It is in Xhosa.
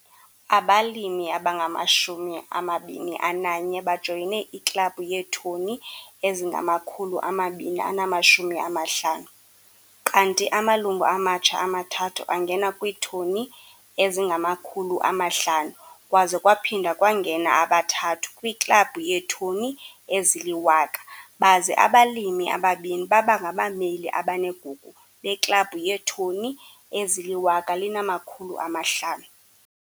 Abalimi abangama-21 bajoyine iKlabhu yeeToni ezingama-250, kanti amalungu amatsha amathathu angene kwiiToni ezingama-500 kwaze kwaphinda kwangena abathathu kwiKlabhu yeeToni ezili-1 000 baze abalimi ababini baba ngabameli abanegugu beKlabhu yeeToni ezili-1 500.